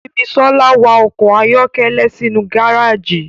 Simisola wa ọkọ ayọkẹlẹ sinu gareji.